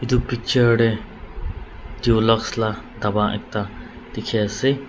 itu noksa deh dulux la daba ekta dikhi ase.